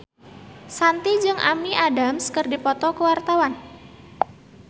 Shanti jeung Amy Adams keur dipoto ku wartawan